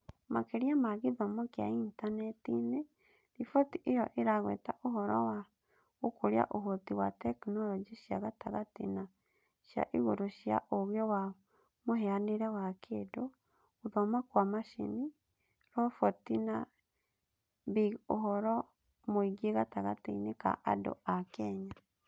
Makĩria ma gĩthomo kĩa Intaneti-inĩ, riboti ĩyo ĩragweta ũhoro wa gũkũria ũhoti wa tekinoronjĩ cia gatagatĩ na cia igũrũ cia ũũgĩ wa mũhianĩre wa kĩndũ, gũthoma kwa macini, roboti na big ũhoro mũingĩ gatagatĩ-inĩ ka andũ a Kenya.